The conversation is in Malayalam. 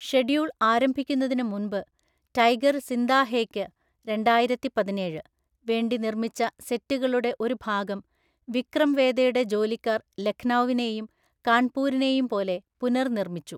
ഷെഡ്യൂൾ ആരംഭിക്കുന്നതിന് മുമ്പ്, ടൈഗർ സിന്ദാ ഹേയ്ക്ക് (രണ്ടായിരത്തിപതിനേഴ്‌) വേണ്ടി നിർമ്മിച്ച സെറ്റുകളുടെ ഒരു ഭാഗം വിക്രം വേദയുടെ ജോലിക്കാർ ലഖ്‌നൗവിനെയും കാൺപൂരിനെയും പോലെ പുനർനിർമ്മിച്ചു.